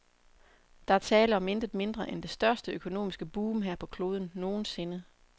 Der er tale om intet mindre, end det største økonomiske boom her på kloden, nogensinde.